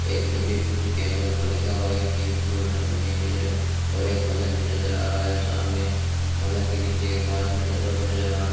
एक डिब्बे के अंदर ऊपर लिखा हुआ है कि गोयथा मशीन निज्रो और एक बंदर भी नजर आ रहा है सामने बंदर के नीचे पास में डब्बा भी नजर आ रहा --